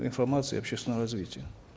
информации и общественного развития